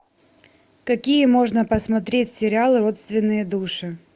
какие можно посмотреть сериалы родственные души